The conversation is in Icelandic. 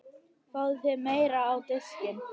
Fáðu þér meira á diskinn